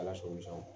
Ala sɔn